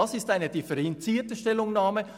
Dies ist eine differenzierte Stellungnahme;